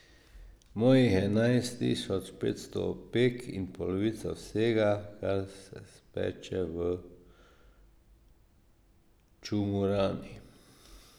Mojih je enajst tisoč petsto opek in polovica vsega, kar se speče v čumurani.